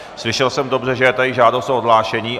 Slyšel jsem dobře, že je tady žádost o odhlášení?